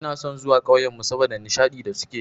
Ina son zuwa ƙauyenmu saboda nishadi da suke yi.